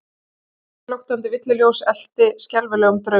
Sagan flöktandi villuljós elt í skelfilegum draumi?